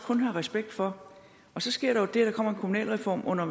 kun have respekt for så sker der jo det at der kommer en kommunalreform under